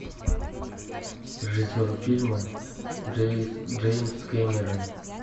режиссер фильма джеймс кэмерон